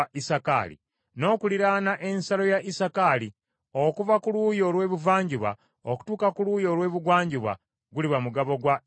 N’okuliraana ensalo ya Isakaali okuva ku luuyi olw’ebuvanjuba okutuuka ku luuyi olw’ebugwanjuba, guliba mugabo gwa Zebbulooni.